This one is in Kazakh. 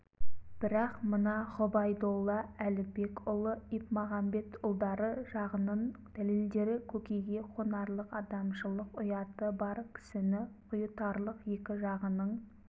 бірақ мына ғұбайдолла әлібекұлы ипмағамбетұлдары жағынын дәлелдері көкейге қонарлық адамшылық ұяты бар кісіні ұйытарлық екі жағының